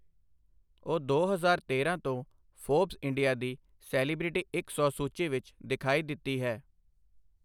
ਉਹ ਦੋ ਹਜ਼ਾਰ ਤੇਰਾਂ ਤੋਂ ਫੋਰਬਸ ਇੰਡੀਆ ਦੀ ਸੈਲੀਬ੍ਰਿਟੀ ਇੱਕ ਸੌ ਸੂਚੀ ਵਿੱਚ ਦਿਖਾਈ ਦਿੱਤੀ ਹੈ।